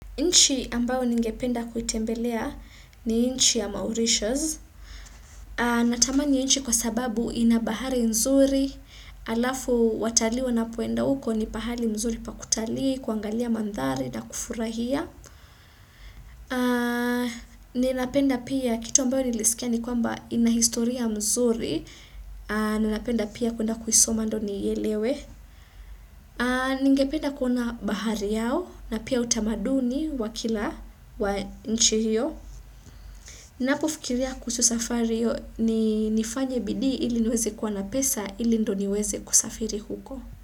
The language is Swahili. Inchi ambayo ningependa kuitembelea ni inchi ya Mauritius. Natamani nchi kwa sababu ina bahari nzuri. Alafu watalii wanapoenda huko ni pahali mzuri pa kutalii, kuangalia mandhari na kufurahia. Ninapenda pia kitu ambayo nilisikia ni kwamba ina historia mzuri. Ninapenda pia kuenda kuisoma ndio niielewe. Ningependa kuona bahari yao na pia utamaduni wa kila wa nchi hio Napofikiria kusu safari hiyo ni nifanye bidii ili niweze kwa na pesa ili ndio niweze kusafiri huko.